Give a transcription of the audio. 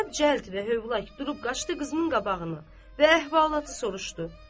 Zeynəb cəld və hövlak durub qaçdı qızının qabağına və əhvalatı soruşdu.